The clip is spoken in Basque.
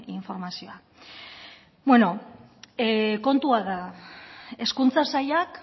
informazioa beno kontua da hezkuntza sailak